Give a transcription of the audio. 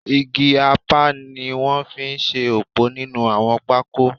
Igi apá ni wọ́n fi ṣe ọ̀pọ̀ nínú àwọn pákó